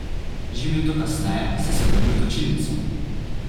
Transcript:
Že minuto kasneje sem se vrnil v točilnico.